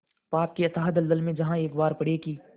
पाप के अथाह दलदल में जहाँ एक बार पड़े कि